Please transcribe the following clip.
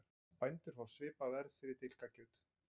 Bændur fá svipað verð fyrir dilkakjöt